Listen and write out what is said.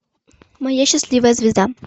моя счастливая звезда